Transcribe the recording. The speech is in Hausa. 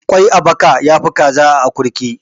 Ƙwai a baka ya fi kaza a akurki